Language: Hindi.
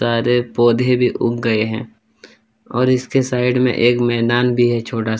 सारे पौधे भी उग गये हैं और इसके साइड में एक मैदान भी है छोटा सा --